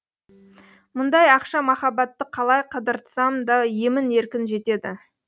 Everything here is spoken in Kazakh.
мұндай ақша махаббатты қалай қыдыртсам да емін еркін жетеді